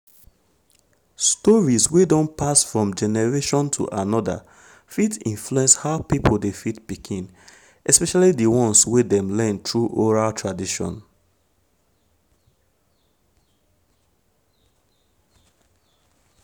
stories wey don pass from one generation to another fit influence how people dey feed pikin especially the ones wey dem learn through oral tradition.